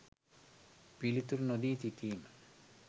පිළිතුරු නොදී සිටීම